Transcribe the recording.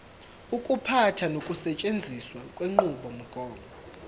ukuphatha nokusetshenziswa kwenqubomgomo